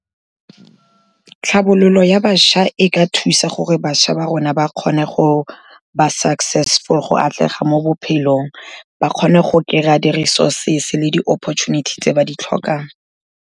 Tlhabololo ya bašwa e ka thusa gore bašwa ba rona ba kgone go ba successful, go atlega mo bophelong, ba kgone go kry-a di-resources le di-opportunity tse ba di tlhokang.